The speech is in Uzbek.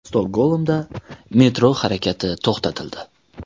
Stokgolmda metro harakati to‘xtatildi.